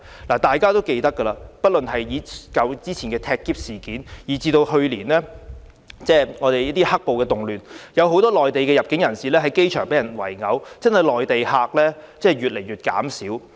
大家都記得之前發生的"踢篋"事件，以及去年的"黑暴"動亂時，很多由內地入境香港的人士在機場被人圍毆，這些事件都令內地客越來越少。